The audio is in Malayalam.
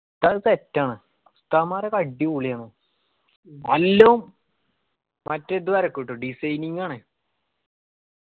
ഉസ്താദ് set ആണ്. ഉസ്താദ്മാർ ഒക്കെ അടിപൊളി ആണ്. മറ്റേ ഇത് വരക്കൂട്ടോ designing ആണ്.